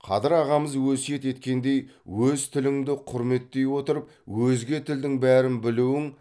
қадыр ағамыз өсиет еткендей өз тіліңді құрметтей отырып өзге тілдің бәрін білуің